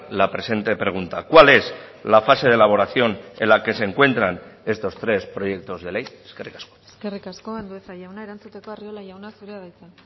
la presente pregunta cuál es la fase de elaboración en la que se encuentran estos tres proyectos de ley eskerrik asko eskerrik asko andueza jauna erantzuteko arriola jauna zurea da hitza